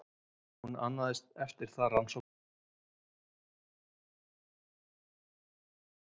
Hún annaðist eftir það rannsóknastarfsemina, en Jarðboranir ríkisins boranirnar.